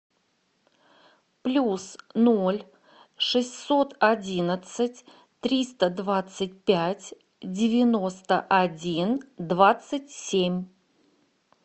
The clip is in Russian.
плюс ноль шестьсот одинадцать триста двадцать пять девяносто один двадцать семь